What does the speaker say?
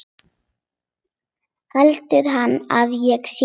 Heldur hann að ég sé.